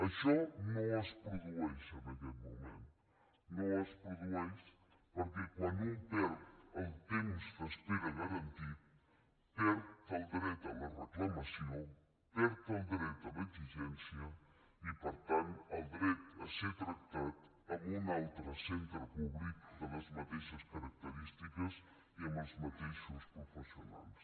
això no es produeix en aquest moment no es produeix perquè quan un perd el temps d’espera garantit perd el dret a la reclamació perd el dret a l’exigència i per tant el dret a ser tractat en un altre centre públic de les mateixes característiques i amb els mateixos professionals